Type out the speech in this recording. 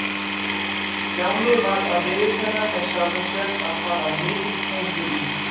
Stjáni varð að viðurkenna með sjálfum sér að það var mikill fengur í